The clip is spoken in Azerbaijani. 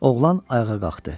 Oğlan ayağa qalxdı.